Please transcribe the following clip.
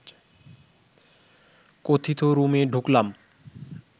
কথিত রুমে ঢুকলাম